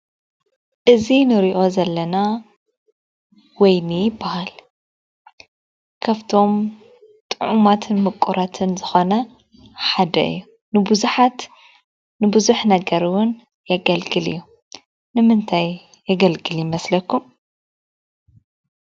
እዚ እንሪኦ ዘለና ወይኒ ይበሃል ። ካብቶም ጥዑማት ን ሙቁራትን ዝኾነ ሓደ እዩ። ንቡዛሓት ንቡዙሕ ነግር እውን የገልግል እዩ። ንምንታይ የገልግል ይመስለኹም ?